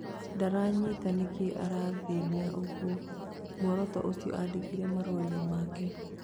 Ndiranyita nikĩ arathĩnia ũguo Mũrutuo ũcio andikirĩ marũaini make